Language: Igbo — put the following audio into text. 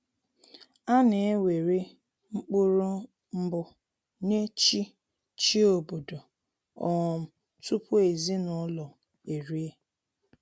A na ewere mkpụrụ mbụ nye chi chi obodo um tupu ezinụlọ erie